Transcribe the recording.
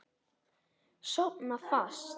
Sofna fast.